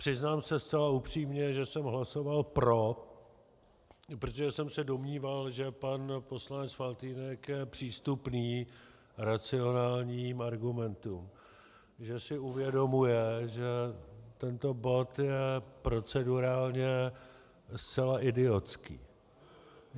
Přiznám se zcela upřímně, že jsem hlasoval pro, protože jsem se domníval, že pan poslanec Faltýnek je přístupný racionálním argumentům, že si uvědomuje, že tento bod je procedurálně zcela idiotský.